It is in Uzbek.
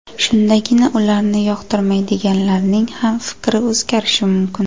Shundagina ularni yoqtirmaydiganlarning ham fikri o‘zgarishi mumkin.